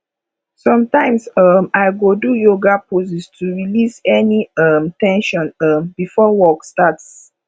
sometimes um i go do yoga poses to release any um ten sion um before work starts